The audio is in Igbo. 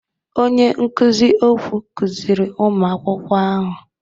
Onye nkuzi okwụ kụziri ụmụ akwụkwọ ahụ.